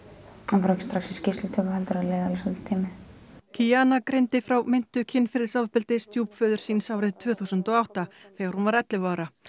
hann fór ekki strax í skýrslutökur heldur það leið alveg svolítill tími kiana greindi frá meintu kynferðisofbeldi stjúpföður síns árið tvö þúsund og átta þegar hún var ellefu ára